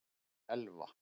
Elva